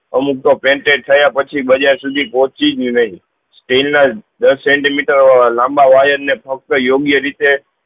અમુક તો patent થયા પહચી બજાર સુધી પહુચી ભી નહી સ્ટીલ ના દસ સેન્તીમીટર લાંબા wire ને ફક્ત યોગ્ય રીતે